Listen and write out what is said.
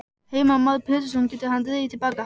Heimir Már Pétursson: Getur hann dregið til baka?